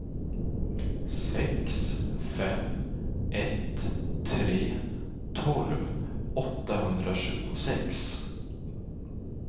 sex fem ett tre tolv åttahundratjugosex